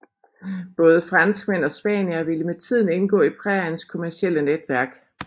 Både franskmænd og spaniere ville med tiden indgå i præriens kommercielle netværk